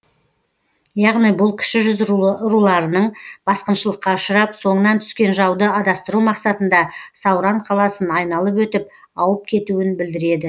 яғни бұл кіші жүз руларының басқыншылыкқа ұшырап соңынан түскен жауды адастыру мақсатында сауран қаласын айналып өтіп ауып кетуін білдіреді